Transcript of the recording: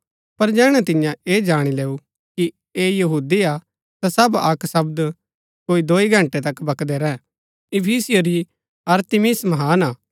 पर जैहणै तिन्ये ऐह जाणी लैऊ कि ऐह यहूदी हा ता सब अक्क शब्द कोई दोई घंटै तक बकदै रैह इफिसियों री अरतिमिस महान हा